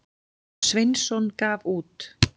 Sveinsson gaf út.